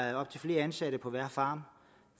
er op til flere ansatte på hver farm